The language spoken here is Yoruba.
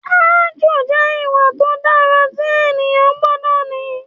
Ààjò jẹ́ ìwà tó dára tí ènìyàn gbọ́dọ̀ ní